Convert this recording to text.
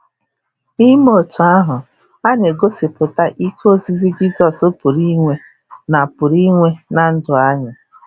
N’ime otu ahụ, ha na-egosipụta ike ozizi Jizọs pụrụ inwe na pụrụ inwe na ndụ anyị.